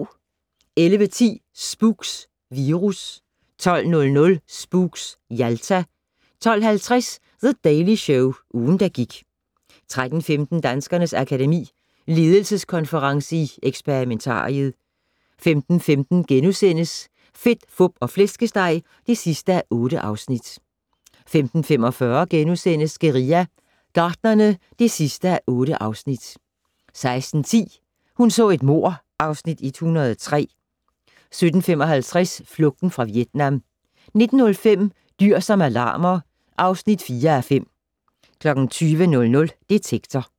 11:10: Spooks: Virus 12:00: Spooks: Jalta 12:50: The Daily Show - ugen, der gik 13:15: Danskernes Akademi: Ledelseskonference i Experimentariet 15:15: Fedt, Fup og Flæskesteg (8:8)* 15:45: Guerilla Gartnerne (8:8)* 16:10: Hun så et mord (Afs. 103) 17:55: Flugten fra Vietnam 19:05: Dyr som alarmer (4:5) 20:00: Detektor